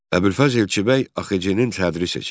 Əbülfəz Elçibəy AXC-nin sədri seçildi.